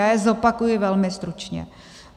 Já je zopakuji velmi stručně.